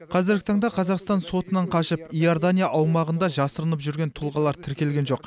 қазіргі таңда қазақстан сотынан қашып иордания аумағында жасырынып жүрген тұлғалар тіркелген жоқ